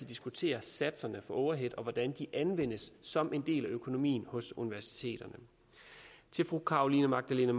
diskutere satserne for overheads og hvordan de anvendes som en del af økonomien på universiteterne til fru carolina magdalene